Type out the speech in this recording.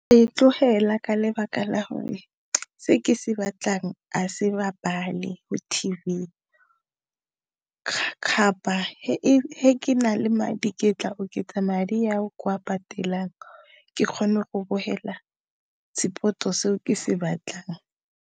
E tlogela ka lebaka la gore se ke se batlang a se bapale mo T_V ke na le madi ke tla oketsa madi a o ke a patelang ke kgone go bogela sport-o seo ke se batlang.